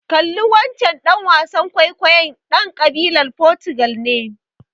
Kalli wancen ɗan wasan kwaikwayon, he's ƙabilar Fotugal ne.